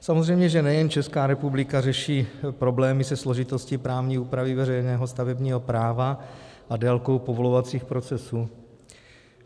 Samozřejmě že nejen Česká republika řeší problémy se složitostí právní úpravy veřejného stavebního práva a délkou povolovacích procesů.